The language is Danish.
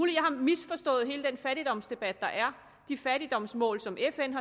jeg har misforstået hele den fattigdomsdebat der er og de fattigdomsmål som fn